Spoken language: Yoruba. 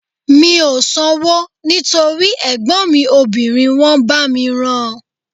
Mi ò sanwó nítorí ẹ̀gbọ́n mi obìnrin wọ́n bá mi rán an